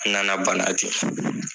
an na na bana ten.